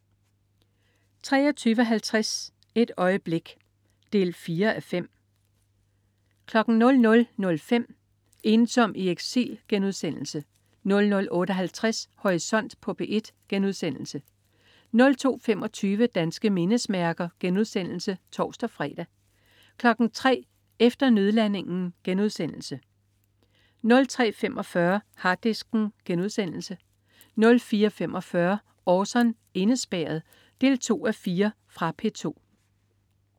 23.50 Et øjeblik 4:5 00.05 Ensom i eksil* 00.58 Horisont på P1* 02.25 Danske mindesmærker* (tors-fre) 03.00 Efter nødlandingen* 03.45 Harddisken* 04.45 Orson: Indespærret 2:4. Fra P2